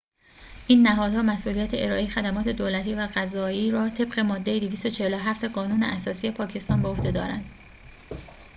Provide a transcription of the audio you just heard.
این نهادها مسئولیت ارائه خدمات دولتی و قضایی را طبق ماده ۲۴۷ قانون اساسی پاکستان به عهده دارند